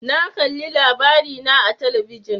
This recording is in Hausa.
Na kalli LABARINA a talabijin.